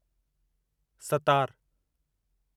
सतार